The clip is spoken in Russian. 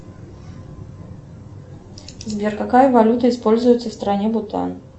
сбер какая валюта используется в стране бутан